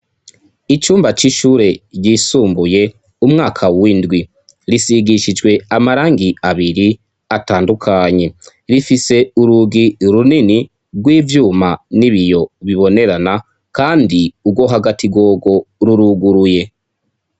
Icumba c'ishure ryisumbuye umwaka w'indwi. Risigishijwe amarangi abiri atandukanye. Rifise urugi runini rw'ivyuma n'ibiyo bibonerana, kandi urwo hagati rworwo ruruguruye.